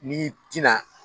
N'i tina